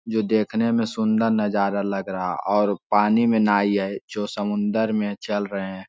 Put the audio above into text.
जो देखने में सुंन्दर नजारा लग रहा है और पानी में नाइ हैं जो समुन्द्र में चल रहें हैं ।